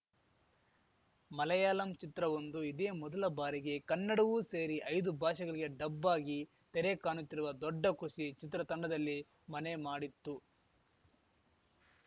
ಮಲಯಾಳಂ ಚಿತ್ರವೊಂದು ಇದೇ ಮೊದಲ ಬಾರಿಗೆ ಕನ್ನಡವೂ ಸೇರಿ ಐದು ಭಾಷೆಗಳಿಗೆ ಡಬ್‌ ಆಗಿ ತೆರೆ ಕಾಣುತ್ತಿರುವ ದೊಡ್ಡ ಖುಷಿ ಚಿತ್ರ ತಂಡದಲ್ಲಿ ಮನೆ ಮಾಡಿತ್ತು